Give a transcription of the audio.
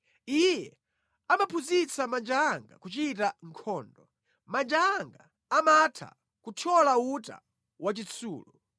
Iye amaphunzitsa manja anga kuchita nkhondo; manja anga amatha kuthyola uta wachitsulo.